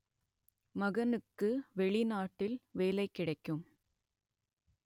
மகனுக்கு வெளிநாட்டில் வேலை கிடைக்கும்